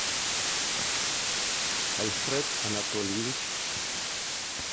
альфред анатольевич